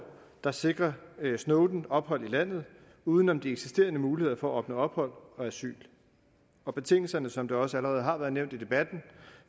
der sikrer snowden ophold i landet uden om de eksisterende muligheder for at opnå ophold og asyl og betingelserne som det også allerede har været nævnt i debatten